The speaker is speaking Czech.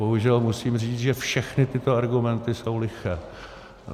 Bohužel musím říct, že všechny tyto argumenty jsou liché.